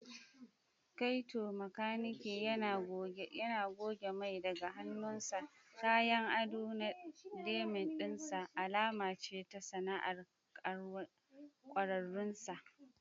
Kaito, makaniki, yana goge mai daga hannunsa, kayan ado na denim ɗin sa alama ce ta sana'ar ƙwararrun sa.